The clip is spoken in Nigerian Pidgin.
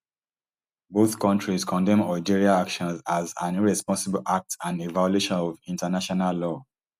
both kontries condemn algeria actions as an irresponsible act and a violation of international law